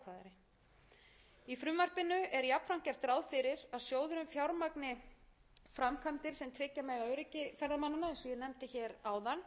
að með góðri hönnun er hægt að gera mannvirki á ferðamannastöðum þannig úr garði gerð